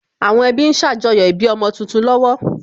Àwọn ẹbí ń ṣàjọyọ̀ ìbí ọmọ tuntun lọ́wọ́